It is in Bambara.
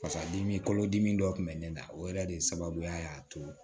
Fasadimi kolodimi dɔ tun bɛ ne la o yɛrɛ de ye sababuya y'a to